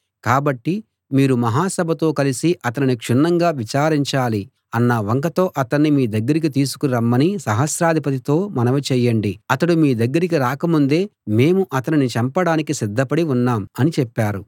కాబట్టి మీరు మహా సభతో కలిసి అతనిని క్షుణ్ణంగా విచారించాలి అన్న వంకతో అతణ్ణి మీ దగ్గరికి తీసుకుని రమ్మని సహస్రాధిపతితో మనవి చేయండి అతడు మీ దగ్గరకి రాకముందే మేము అతనిని చంపడానికి సిద్ధపడి ఉన్నాం అని చెప్పారు